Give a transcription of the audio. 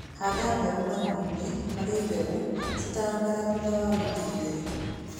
Handa mbegũ marima-inĩ marĩa mbegũ citanamera thutha wa wiki igĩrĩ.